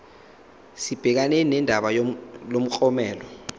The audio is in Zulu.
sibhekane nodaba lomklomelo